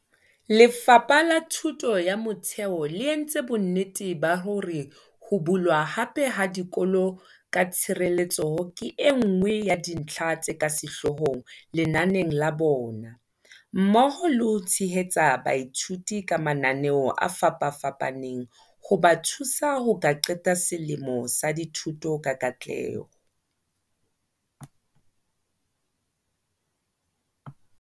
Lefapha la Thuto ya Motheo le entse bonnete ba hore ho bulwa hape ha dikolo ka tshireletseho ke enngwe ya dintlha tse ka sehloohong lenaneng la bona, mmoho le ho tshehetsa baithuti ka mananeo a fapafapaneng hoba thusa ho ka qeta selemo sa dithuto ka katleho.